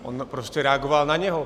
On prostě reagoval na něj.